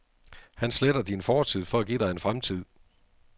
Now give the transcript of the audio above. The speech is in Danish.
Han sletter din fortid for at give dig en fremtid.